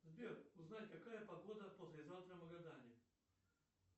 сбер узнай какая погода послезавтра в магадане